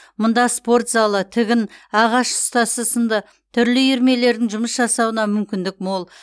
мұнда спорт залы тігін ағаш ұстасы сынды түрлі үйірмелердің жұмыс жасауына мүмкіндік мол